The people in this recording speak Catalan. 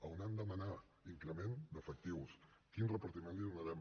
on hem de demanar increment d’efectius quin repartiment hi donarem